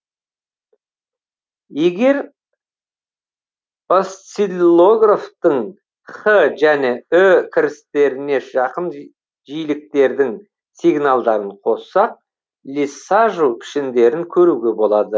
егер осциллографтың х және ү кірістеріне жақын жиіліктердің сигналдарын қоссақ лиссажу пішіндерін көруге болады